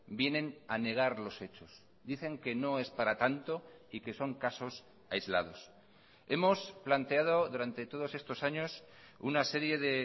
vienen a negar los hechos dicen que no es para tanto y que son casos aislados hemos planteado durante todos estos años una serie de